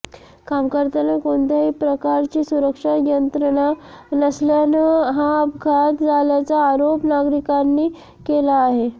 काम करताना कोणत्याही प्रकारची सुरक्षा यंत्रणा नसल्यानं हा अपघात झाल्याचा आरोप नागरिकांनी केला आहे